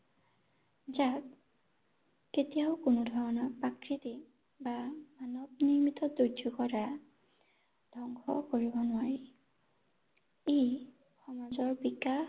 যাক কেতিয়াও কোনোধৰণৰ আকৃতি বা মানৱ নিৰ্মিত দুৰ্যোগৰ দ্বাৰা ধ্বংস কৰিব নোৱাৰি ৷ ই সমাজৰ বিকাশ